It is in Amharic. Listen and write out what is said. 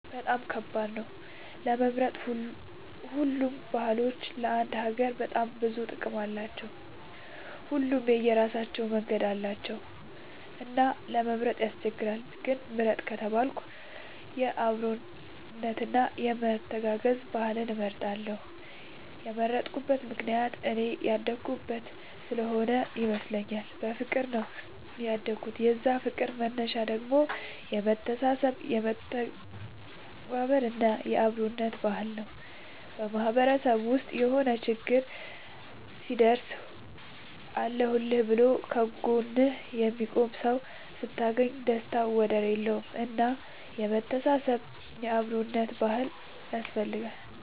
በጣም ከባድ ነው ለመምረጥ ሁሉም ባህሎች ለአንድ ሀገር በጣም ብዙ ጥቅም አላቸው። ሁሉም የራሳቸው መንገድ አላቸው እና ለመምረጥ ያስቸግራል። ግን ምርጥ ከተባልኩ የአብሮነት እና የመተጋገዝ ባህልን እመርጣለሁ የመረጥኩት ምክንያት እኔ ያደኩበት ስሆነ ይመስለኛል። በፍቅር ነው ያደኩት የዛ ፍቅር መነሻው ደግሞ የመተሳሰብ የመተባበር እና የአብሮነት ባህል ነው። በማህበረሰብ ውስጥ የሆነ ችግር ሲደርስብህ አለሁልህ ብሎ ከ ጎንህ የሚቆምልህ ሰው ስታገኝ ደስታው ወደር የለውም። እና የመተሳሰብ እና የአብሮነት ባህል ያስፈልጋል